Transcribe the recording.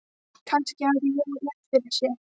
Kannski hafði Jói haft rétt fyrir sér.